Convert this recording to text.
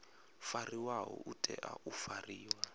fariwaho u tea u fariwa